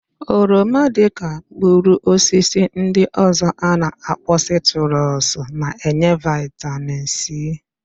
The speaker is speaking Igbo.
Oroma, dịka mkpụrụosisi ndị ọ̀zọ́ a na-akpọ sitrus na-enye vịtamin sii.